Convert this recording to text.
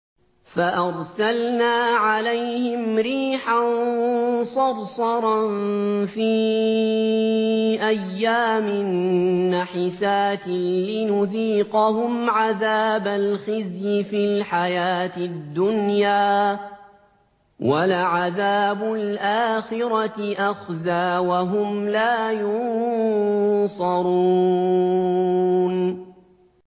فَأَرْسَلْنَا عَلَيْهِمْ رِيحًا صَرْصَرًا فِي أَيَّامٍ نَّحِسَاتٍ لِّنُذِيقَهُمْ عَذَابَ الْخِزْيِ فِي الْحَيَاةِ الدُّنْيَا ۖ وَلَعَذَابُ الْآخِرَةِ أَخْزَىٰ ۖ وَهُمْ لَا يُنصَرُونَ